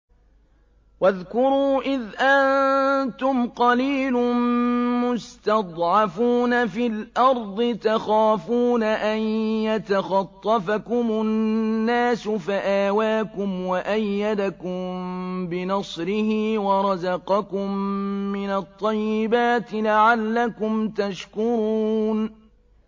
وَاذْكُرُوا إِذْ أَنتُمْ قَلِيلٌ مُّسْتَضْعَفُونَ فِي الْأَرْضِ تَخَافُونَ أَن يَتَخَطَّفَكُمُ النَّاسُ فَآوَاكُمْ وَأَيَّدَكُم بِنَصْرِهِ وَرَزَقَكُم مِّنَ الطَّيِّبَاتِ لَعَلَّكُمْ تَشْكُرُونَ